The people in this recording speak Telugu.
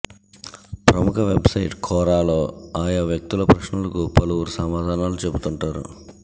ప్రముఖ వెబ్ సైట్ కోరాలో ఆయా వ్యక్తుల ప్రశ్నలకు పలువురు సమాధానాలు చెబుతుంటారు